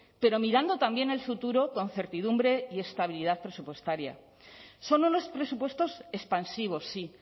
pero mirando también al futuro con certidumbre y estabilidad presupuestaria son unos presupuestos expansivos sí